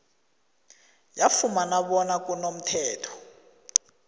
yafumana bona kunomthetho